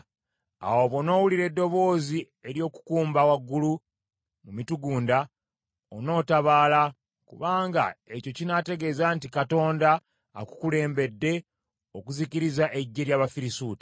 Awo bw’onoowulira eddoboozi ery’okukumba waggulu mu mitugunda, onootabaala, kubanga ekyo kinaategeeza nti Katonda akukulembedde okuzikiriza eggye ly’Abafirisuuti.”